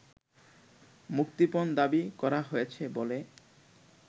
মুক্তিপণ দাবি করা হয়েছে বলে